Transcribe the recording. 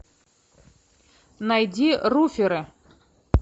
найди руферы